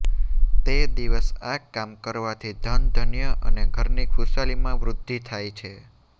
તે દિવસ આ કામ કરવાથી ધન ધન્ય અને ઘરની ખુશાલીમાં વૃદ્ધી થાય છે